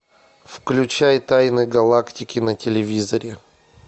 включай тайны галактики на телевизоре